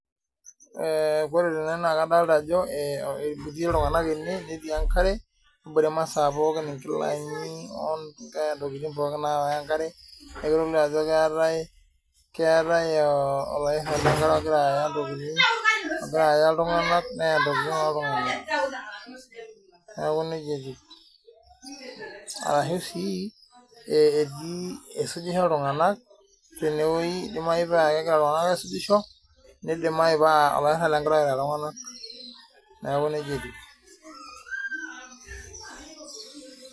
Ee ore tene naa kadolta ajo ee etii iltung'anak ene netii enkare nebore imasaa pookin nkilani ontokitin pookin naawa enkare ajo keetai olairrani lenkare ogira aya ntokitin ogira aaya iltung'anak neya ntokitin loltung'anak arashu sii idimayu paa egira iltung'anak aisujisho ashu nidimayu naa, neeku nijia etiu.